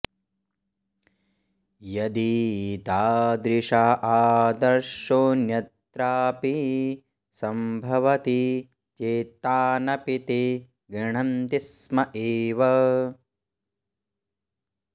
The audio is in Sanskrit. यदि तादृश आदर्शोऽन्यत्रापि सम्भवति चेत्तानपि ते गृह्णन्ति स्म एव